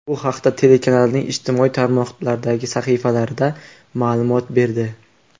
Bu haqda telekanalning ijtimoiy tarmoqlardagi sahifalari ma’lumot berdi .